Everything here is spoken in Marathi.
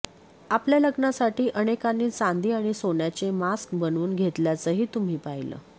आपल्या लग्नासाठी अनेकांनी चांदी आणि सोन्याचे मास्क बनवून घेतल्याचंही तुम्ही पाहिलं